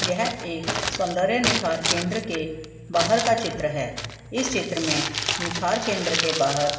यह एक सौंदर्य निखार केंद्र के बाहर का चित्र है इस चित्र में निखार केंद्र के बाहर--